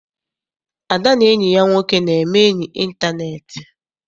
Ada na enyi ya nwoke na-eme enyi intaneeti.